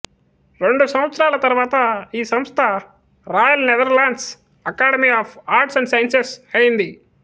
రెండు సంవత్సరాల తరువాత ఈ సంస్థ Royal Netherlands Academy of Arts and Sciences అయ్యింది